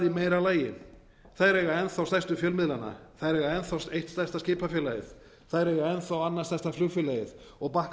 meira lagi þær eiga enn stærstu fjölmiðlana þær eiga enn þá eitt stærsta skipafélagið þær eiga enn þá annað stærsta flugfélagið og